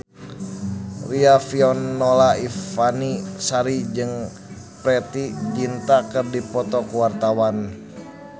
Riafinola Ifani Sari jeung Preity Zinta keur dipoto ku wartawan